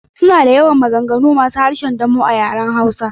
Suna da yawa, maganganu masu harshen damo a yaren hausa.